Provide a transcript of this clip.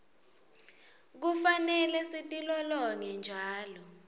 kufanele sitilolonge njalo